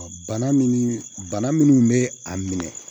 Bana min bana minnu bɛ a minɛ